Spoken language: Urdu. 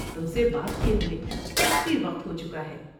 تم سے بات کیے ہوئے کافی وقت ہو چکا ہے۔